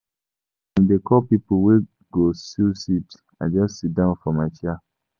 As dem dey call pipo wey go sew seed, I just siddon for my chair.